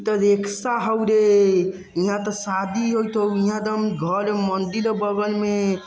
इतो रिक्शा होरे| यहाँ तो शादी हो तो यहाँ एकदम घर हो मंदिर हो बगल में|